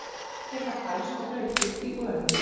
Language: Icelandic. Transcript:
Hestar geta fælst og hlaupið í gönur.